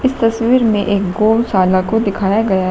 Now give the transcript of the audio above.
तस्वीर में एक गौशाला को दिखाया गया--